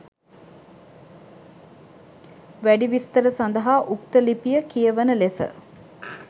වැඩි විස්තර සදහා උක්ත ලිපිය කියවන ලෙස